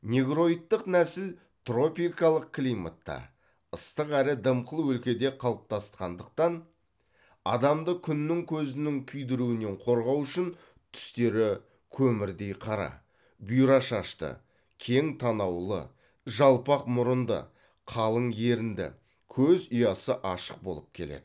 негроидтық нәсіл тропикалық климатта ыстық әрі дымқыл өлкеде қалыптасқандықтан адамды күннің көзінің күйдіруінен қорғау үшін түстері көмірдей қара бұйра шашты кең танаулы жалпақ мұрынды қалың ерінді көз ұясы ашық болып келеді